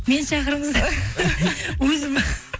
мені шақырыңыздар өзім